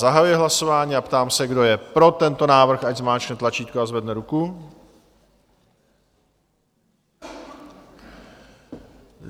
Zahajuji hlasování a ptám se, kdo je pro tento návrh, ať zmáčkne tlačítko a zvedne ruku.